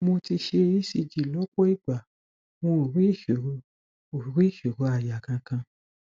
mo ti ṣe ecg lọpọ ìgbà wọn ò rí ìṣòro ò rí ìṣòro àyà kankan